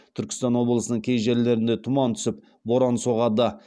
түркістан облысының кей жерлерінде тұман түсіп боран соғады